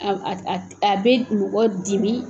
A a bɛ mɔgɔ dimi.